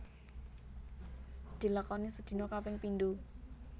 Dilakoni sedina kaping pindo